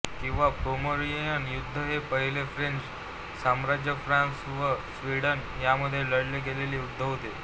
किंवा पोमेरानियन युद्ध हे पहिले फ्रेंच साम्राज्यफ्रांस व स्वीडन यांमध्ये लढले गेलेले युद्ध होते